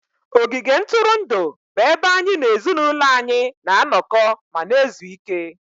ogige ntụrụndụ bụ ebe anyị na ezinụlọ anyị na-anọkọ ma na-ezu ike